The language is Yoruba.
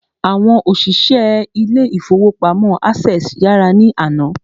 Àwọn òṣìṣẹ́ ilé ìfọwọ́pamo Access yàrá ní àná.